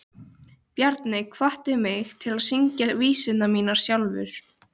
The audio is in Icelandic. Bjarni hvatti mig til að syngja vísurnar mínar sjálfur.